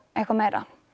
eitthvað meira